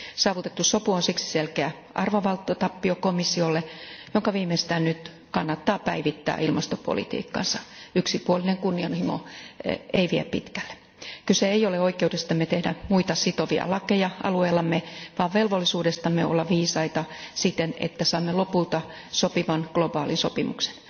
Saavutettu sopu on siksi selkeä arvovaltatappio komissiolle, jonka viimeistään nyt kannattaa päivittää ilmastopolitiikkansa. Yksipuolinen kunnianhimo ei vie pitkälle. Kyse ei ole oikeudestamme tehdä muita sitovia lakeja alueellamme vaan velvollisuudestamme olla viisaita siten, että saamme lopulta sopivan globaalisopimuksen.